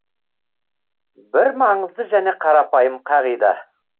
бір маңызды және қарапайым қағида